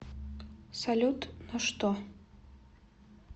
салют но что